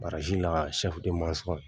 la ka masɔn